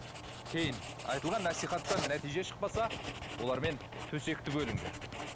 кейін айтылған насихаттан нәтиже шықпаса олармен төсекті бөліңдер